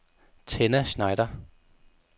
Tenna Schneider